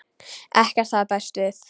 Ekkert hafði bæst við.